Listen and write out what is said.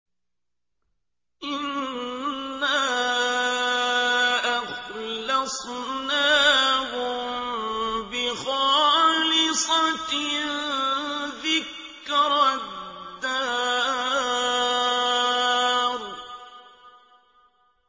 إِنَّا أَخْلَصْنَاهُم بِخَالِصَةٍ ذِكْرَى الدَّارِ